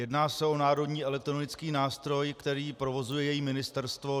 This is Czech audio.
Jedná se o národní elektronický nástroj, který provozuje její ministerstvo.